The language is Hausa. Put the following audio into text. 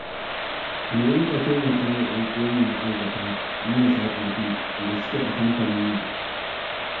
Mu dinga taimaka wa 'yanuwanmu ma'aikata marasa ƙarfi da suke a kamfanin nan